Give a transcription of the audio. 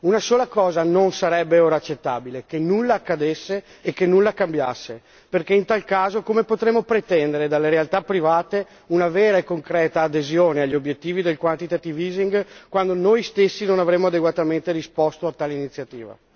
Una sola cosa non sarebbe ora accettabile che nulla accadesse e che nulla cambiasse, perché in tal caso come potremmo pretendere dalle realtà private una vera e concreta adesione agli obiettivi del quantitative easing quando noi stessi non avremo adeguatamente risposto a tale iniziativa?